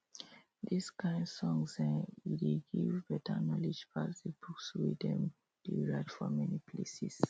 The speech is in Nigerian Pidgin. this kain songs[um]e dey give better knowledge pass the books wey dem dey write for many places